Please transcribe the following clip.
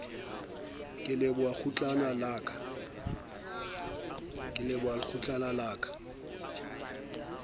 ke leboha kgutlana la ka